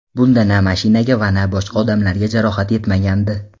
Bunda na mashinaga va na boshqa odamlarga jarohat yetmagandi.